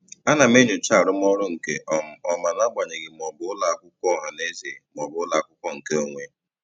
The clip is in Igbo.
Ana m enyocha arụmọrụ nke um ọma n'agbanyeghị ma ọ bụ ụlọakwụkwọ ọhanaeze maọbụ ụlọakwụkwọ nke onwe.